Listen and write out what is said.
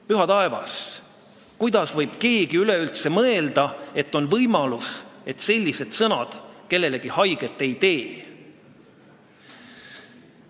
Püha taevas, kuidas võib keegi üldse mõelda, et on võimalus, et sellised sõnad kellelegi haiget ei tee!